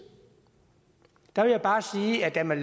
der vil jeg bare sige at da man